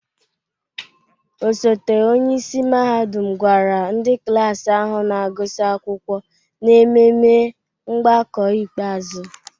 Osote onye isi mahadum gwara ndị klas ahụ na-agụsị akwụkwọ n'ememe mgbakọ ikpeazụ.